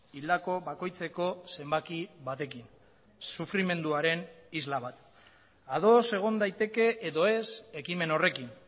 hildako bakoitzeko zenbaki batekin sufrimenduaren isla bat ados egon daiteke edo ez ekimen horrekin